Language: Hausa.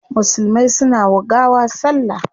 Musulmai suna wa gawa salla